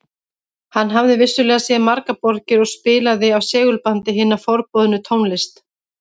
Hann hafði vissulega séð margar borgir og spilaði af segulbandi hina forboðnu tónlist